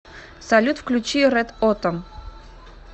салют включи рэд отам